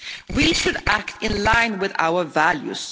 We should act in line with our values.